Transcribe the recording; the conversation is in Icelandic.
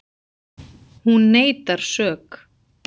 Hún neitar sök